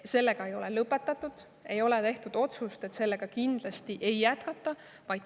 Seda ei ole lõpetatud, ei ole tehtud otsust, et sellega kindlasti ei jätkata.